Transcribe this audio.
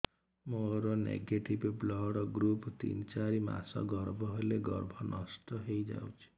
ମୋର negative blood group ତିନ ଚାରି ମାସ ଗର୍ଭ ହେଲେ ଗର୍ଭ ନଷ୍ଟ ହେଇଯାଉଛି